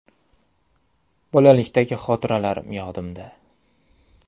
Bolalikdagi xotiralarim yodimda.